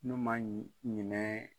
N'u ma ɲi ɲinɛ